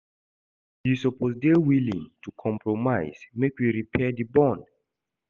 You suppose dey willing to compromise make we repair di bond.